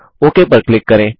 okay पर click करें